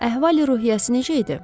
Əhval-ruhiyyəsi necə idi?